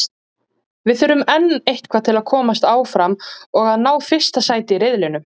Við þurfum enn eitthvað til að komast áfram og að ná fyrsta sæti í riðlinum.